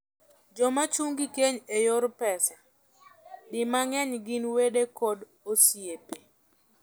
Jomachung' gi keny e yor pesa, di mangeny gin wede kod osiepe.